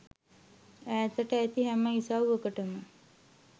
ඈතට ඇති හැම ඉසව්වකටම